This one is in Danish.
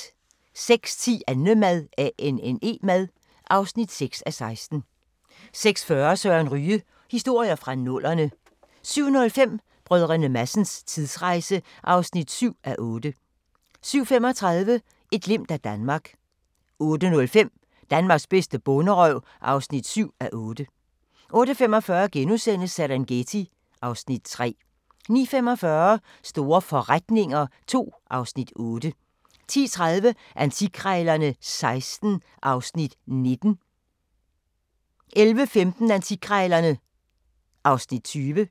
06:10: Annemad (6:16) 06:40: Søren Ryge: Historier fra nullerne 07:05: Brdr. Madsens tidsrejse (7:8) 07:35: Et glimt af Danmark 08:05: Danmarks bedste bonderøv (7:8) 08:45: Serengeti (Afs. 3)* 09:45: Store forretninger II (Afs. 8) 10:30: Antikkrejlerne XVI (Afs. 19) 11:15: Antikkrejlerne (Afs. 20)